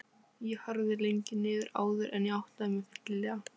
Þau staðnæmast fyrir framan reynitréð fjær sólpallinum.